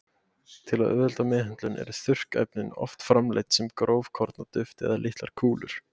Til að auðvelda meðhöndlun eru þurrkefnin oft framleidd sem grófkorna duft eða litlar kúlur.